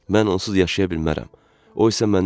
Mən onsuz yaşaya bilmərəm.